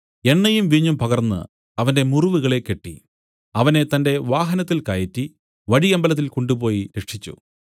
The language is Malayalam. എണ്ണയും വീഞ്ഞും പകർന്നു അവന്റെ മുറിവുകളെ കെട്ടി അവനെ തന്റെ വാഹനത്തിൽ കയറ്റി വഴിയമ്പലത്തിൽ കൊണ്ടുപോയി രക്ഷിച്ചു